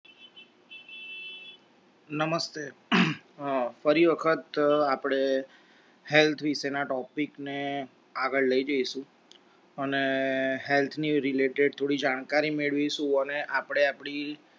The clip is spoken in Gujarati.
નમસ્તે. ફરી વખત આપડે health વિષે ના topic ને આગળ લઈ જઈશું અને health ની related થોડી જાણકારી મેળવીશું અને આપણે આપણી